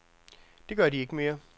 Det gør de ikke mere.